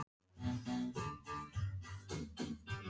Hún leit aftur fram á gólfið.